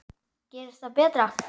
Gerist það betra.